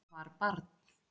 Var barn